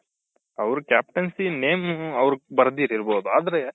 ಅವ್ರ captaincy name ಆವೃದ್ ಬರ್ದಿದಿಲ್ಬೋದು ಆದ್ರೆ